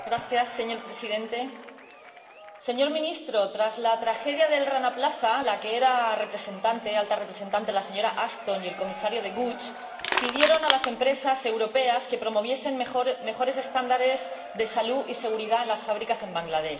Señor Presidente. Señor Ministro, tras la tragedia del Rana Plaza, la que era Alta Representante, la señora Ashton, y el Comisario De Gucht, pidieron a las empresas europeas que promoviesen mejores estándares de salud y seguridad en las fábricas en Bangladés.